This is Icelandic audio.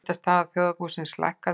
Skuldastaða þjóðarbúsins lækkaði